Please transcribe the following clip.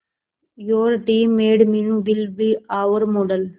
your teammate Meenu will be our model